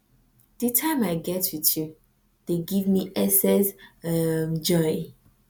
di time i get with you dey give me excess um joy